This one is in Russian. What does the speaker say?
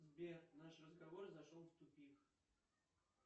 сбер наш разговор зашел в тупик